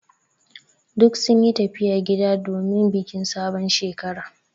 Duk sun yi tafiya gida domin bikin sabon Shekara.